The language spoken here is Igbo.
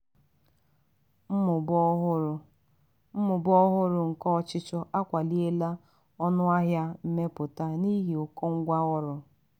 mmụba ọhụrụ mmụba ọhụrụ nke ọchịchọ akwaliela ọnụ ahịa mmepụta n'ihi ụkọ ngwa ọrụ.